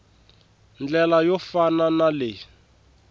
ndlela yo fana na leyi